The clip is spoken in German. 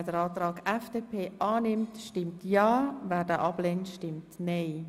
Wer den Antrag annimmt, stimmt ja, wer ihn ablehnt, stimmt nein.